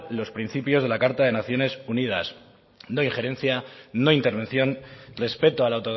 los principios de la carta de las naciones unidas no injerencia no intervención respeto a la